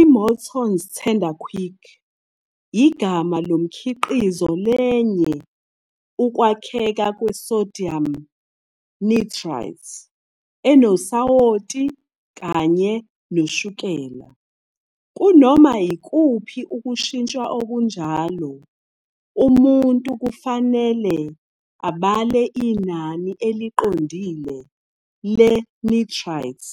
I-Morton's Tenderquick igama lomkhiqizo lenye ukwakheka kwe-sodium nitrite, enosawoti kanye noshukela. Kunoma yikuphi ukushintshwa okunjalo, umuntu kufanele abale inani eliqondile le-nitrite